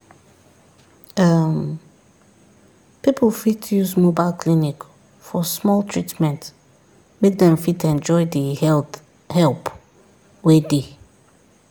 um people fit use mobile clinic for small treatment make dem fit enjoy the health help wey dey.